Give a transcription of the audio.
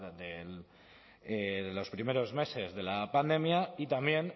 de los primeros meses de la pandemia y también